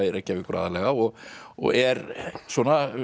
Reykjavíkur aðallega og og er svona